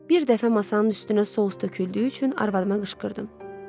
Bir dəfə masanın üstünə sous töküldüyü üçün arvadıma qışqırdım.